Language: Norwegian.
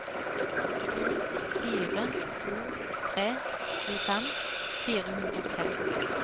to fire to tre tjuefem fire hundre og tre